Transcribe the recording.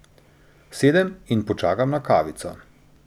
Sedem in počakam na kavico.